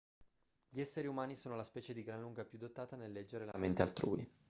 gli esseri umani sono la specie di gran lunga più dotata nel leggere la mente altrui